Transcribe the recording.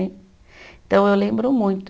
eu lembro muito.